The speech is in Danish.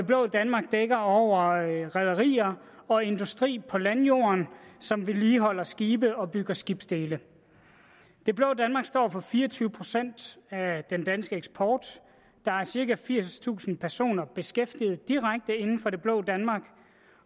blå danmark dækker over rederier og industri på landjorden som vedligeholder skibe og bygger skibsdele det blå danmark står for fire og tyve procent af den danske eksport der er cirka firstusind personer beskæftiget direkte inden for det blå danmark